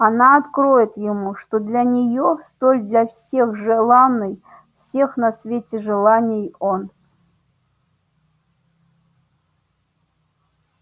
она откроет ему что для неё столь для всех желанной всех на свете желанней он